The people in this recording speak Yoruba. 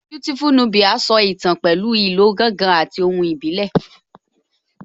Beautiful Nubia so ìtàn pẹ̀lú ìlò ìlù gángan àti ohùn ìbílẹ̀